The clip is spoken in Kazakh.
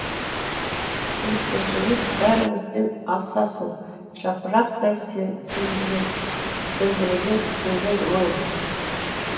өткіншілік бәрімізден асасың жапырақтай селдіреген төлің мың